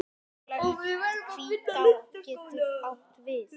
Hvítá getur átt við